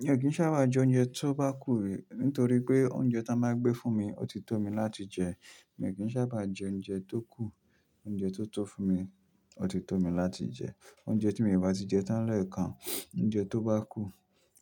Mi ò kì í sábà jẹ oúnjẹ tó bá kù nítorí pé oúnjẹ tá wọ́n máa gbé fún mi, ò ti tó mi láti jẹ. Mi ò kìn sábà jẹ oúnjẹ tókù, oúnjẹ tó tó fún mi òtítọ́ mi láti jẹ. Oúnjẹ tí mi ò bá ti jẹ tán lẹ̀ẹ́kan, oúnjẹ tó bá kù